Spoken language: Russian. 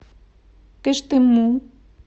кыштыму